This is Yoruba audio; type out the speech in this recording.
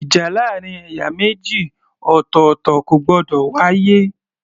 Ìjà láàrin ẹ̀yà méjì ọ̀tọ̀ọ̀tọ̀ kò gbọdọ̀ wá yé